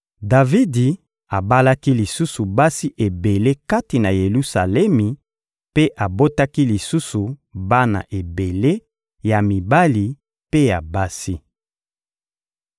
Davidi abalaki lisusu basi ebele kati na Yelusalemi mpe abotaki lisusu bana ebele ya mibali mpe ya basi.